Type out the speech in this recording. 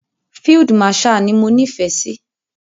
Field marshal ni mo nífẹ̀ẹ́ sí.